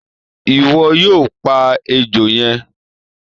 Iwọ yoo pa ejo yẹn!